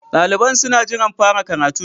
Daliban suna jiran fara karatun.